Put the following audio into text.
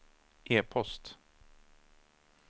e-post